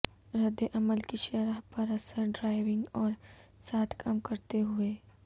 رد عمل کی شرح پر اثر ڈرائیونگ اور ساتھ کام کرتے ہوئے